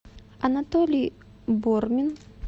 анатолий бормин